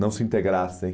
Não se integrassem.